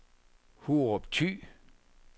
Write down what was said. Hurup Thy